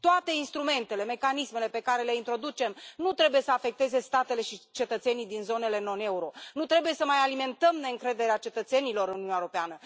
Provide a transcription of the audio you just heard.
Toate instrumentele, mecanismele pe care le introducem nu trebuie să afecteze statele și cetățenii din zonele non euro, nu trebuie să mai alimentăm neîncrederea cetățenilor în Uniunea Europeană.